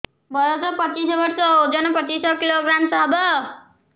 ବୟସ ପଚିଶ ବର୍ଷ ଓଜନ ପଚିଶ କିଲୋଗ୍ରାମସ ହବ